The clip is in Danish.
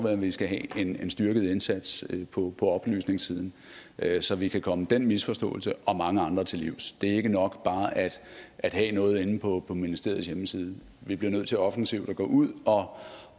at vi skal have en styrket indsats på oplysningssiden så vi kan komme den misforståelse og mange andre til livs det er ikke nok bare at at have noget inde på ministeriets hjemmeside vi bliver nødt til offensivt at gå ud og